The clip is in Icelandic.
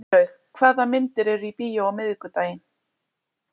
Sveinlaug, hvaða myndir eru í bíó á miðvikudaginn?